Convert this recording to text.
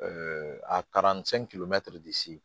a taara